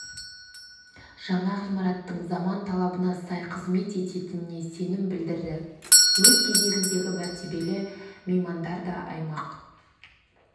жаңа ғимараттың заман талабына сай қызмет ететініне сенім білдірді өз кезегінде мәртебелі меймандар да аймақ